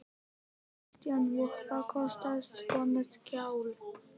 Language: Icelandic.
Kristján: Og hvað kostar svona skjal?